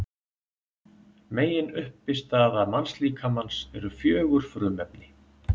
Meginuppistaða mannslíkamans eru fjögur frumefni.